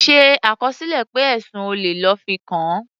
Ṣe àkọsílẹ̀ pé ẹ̀sùn olè lọ́ fi kàn án.